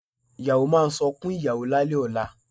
Ìyàwó máa sunkún ìyàwó lálẹ̀ ọ̀la